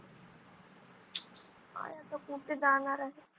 काय आता कुठे जाणार आहे.